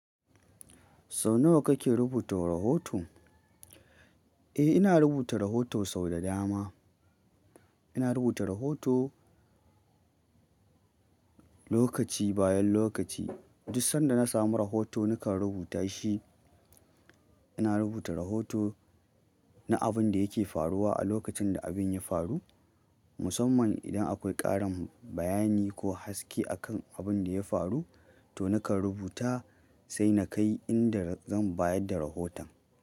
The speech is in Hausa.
Sau nawa kake rubuta rahoto? Eh ina rubuta rahoto sau da dama ina rubuta rahoto lokaci bayan lokaci. Duk sanda na samu rahoto nakan rubuta shi. Ina rubuta rahoto na abin da yake faruwa a lokacin da abin ya faru. Musamman idan akwai ƙarin bayani ko haske a kan abin da ya faru, to nakan rubuta sai na kai inda zan bayar da rahoton.